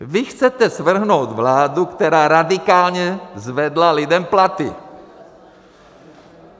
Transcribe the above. Vy chcete svrhnout vládu, která radikálně zvedla lidem platy.